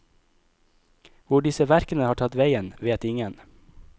Hvor disse verkene har tatt veien, vet ingen.